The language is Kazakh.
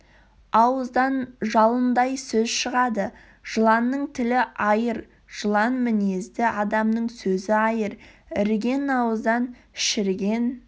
ауыздан жалындай сөз шығады жыланның тілі айыр жылан мінезді адамның сөзі айыр іріген ауыздан шіріген